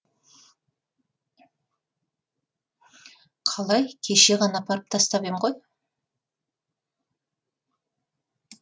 қалай кеше ғана апарып тастап ем ғой